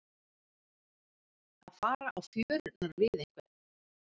Að fara á fjörurnar við einhvern